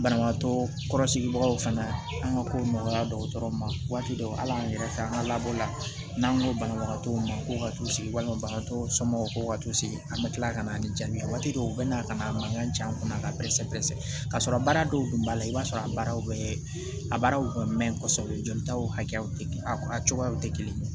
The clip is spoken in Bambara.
Banabagatɔ kɔrɔsigibagaw fana an ka kow nɔgɔyara dɔkɔtɔrɔw ma waati dɔw ala an yɛrɛ fɛ an ka labɔ la n'an ko banabagatɔw ma ko ka t'u sigi walima bagantɔw somɔgɔw ko ka t'u sigi an bɛ tila kana ni jaabi dɔw u bɛ na ka na a mankan jigin an kunna k'a bɛɛ sɛpɛsɛ ka sɔrɔ baara dɔw tun b'a la i b'a sɔrɔ a baara bɛ a baaraw ka mɛn kosɛbɛ jolitaw hakɛ a cogoyaw tɛ kelen ye